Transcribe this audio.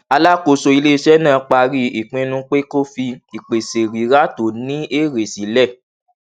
alákóso iléiṣẹ náà parí ìpinnu pé kó fi ìpèsè rírà tó ní èrè sílẹ